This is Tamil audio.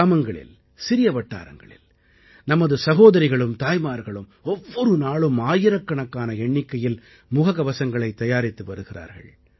கிராமங்களில் சிறிய வட்டாரங்களில் நமது சகோதரிகளும் தாய்மார்களும் ஒவ்வொரு நாளும் ஆயிரக்கணக்கான எண்ணிக்கையில் முககவசங்களைத் தயாரித்து வருகிறார்கள்